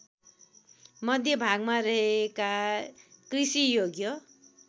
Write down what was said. मध्यभागमा रहेका कृषियोग्य